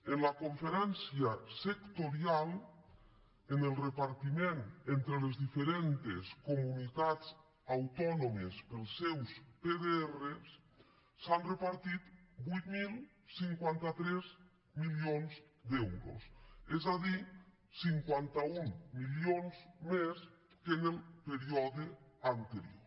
en la conferència sectorial en el repartiment entre les diferents comunitats autònomes per als seus pdr s’han repartit vuit mil cinquanta tres milions d’euros és a dir cinquanta un milions més que en el període anterior